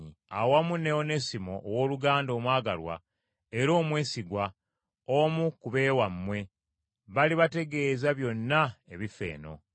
awamu ne Onesimo owooluganda omwagalwa era omwesigwa, omu ku b’ewammwe; balibategeeza byonna ebifa eno.